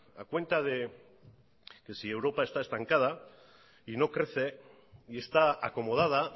a cuenta de que europa está estancada y no crece y está acomodada